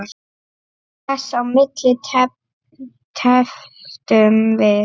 Þess á milli tefldum við.